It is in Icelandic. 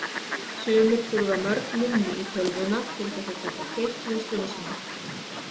Sumir þurfa mörg minni í tölvuna til þess að geta keyrt vinnsluna sína.